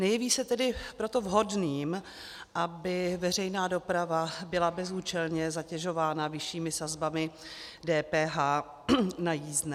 Nejeví se tedy proto vhodným, aby veřejná doprava byla bezúčelně zatěžována vyššími sazbami DPH na jízdné.